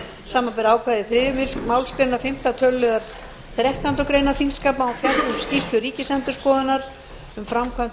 samanber ákvæði fimmta töluliðar fyrstu málsgreinar þrettándu greinar þingskapa að hún fjalli um skýrslu ríkisendurskoðunar um framkvæmd